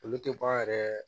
Olu tɛ bɔ a yɛrɛ